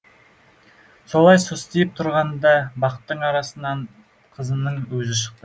солай состиып тұрғанында бақтың арасынан қызының өзі шықты